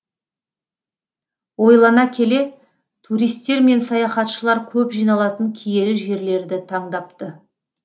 ойлана келе туристер мен саяхатшылар көп жиналатын киелі жерлерді таңдапты